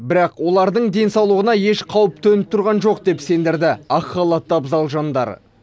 бірақ олардың денсаулығына еш қауіп төніп тұрған жоқ деп сендірді ақ халатты абзал жандар